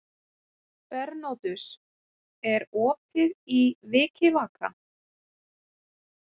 Bernódus, er opið í Vikivaka?